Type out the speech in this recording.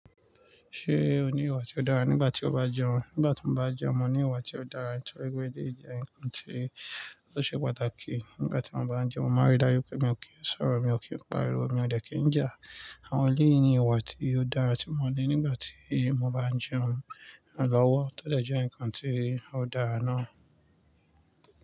Ṣé o ní ìwà tí ó dára nígbà tí o bá jẹun? Nígbà tí mo bá jẹun, mo ní ìwà tí ó dára, torí pé e díje nǹkan tí ó ṣe pàtàkì. Nígbà tí mo bá ń jẹun, mo máa rí dájú pé mi ò kí ń sọ̀rọ̀, mi ò kí ń pariwo, mi ò dẹ̀ kí ń jà. Àwọn yìí ni ìwà tí ó dára tí mo ní nígbà tí mo bá ń jẹun na lọ́wọ́. Ó dẹ̀ jẹ́ ǹkan tí ó dára ná.